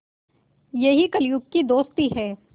यही कलियुग की दोस्ती है